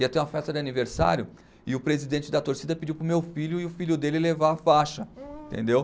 Ia ter uma festa de aniversário e o presidente da torcida pediu para o meu filho e o filho dele levar a faixa, entendeu?